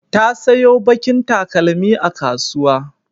Ta sayo baƙin takalmi a kasuwa.